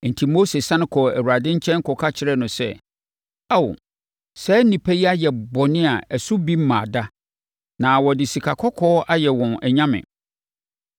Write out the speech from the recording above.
Enti, Mose sane kɔɔ Awurade nkyɛn kɔka kyerɛɛ no sɛ, “Ao, saa nnipa yi ayɛ bɔne a ɛso bi mmaa da, na wɔde sikakɔkɔɔ ayɛ wɔn anyame.